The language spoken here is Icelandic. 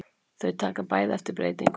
Þau taka bæði eftir breytingunni.